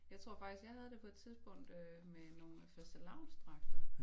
Jeg tror faktisk jeg havde det på et tidspunkt øh med nogle fastelavnsdragter